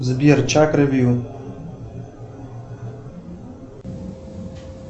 сбер чакры вью